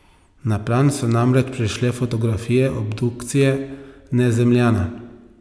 Na plan so namreč prišle fotografije obdukcije Nezemljana.